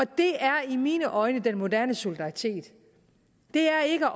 det er i mine øjne den moderne solidaritet det er ikke at